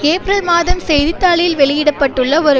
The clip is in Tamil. ஏப்ரல் மாதம் செய்தி தாளில் வெளியிட பட்டுள்ள ஒரு